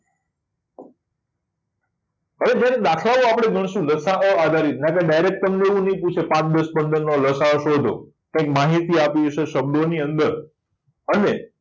હવે જ્યારે આપણે દાખલાઓ ગણશું લસાઅ વાળા તો direct તમને એવું નહીં પૂછે પાંચ દસ પંદર નો લ. સા. અ શોધો. કઈ માહિતી આપી હશે શબ્દોની અંદર અને